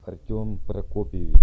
артем прокопьевич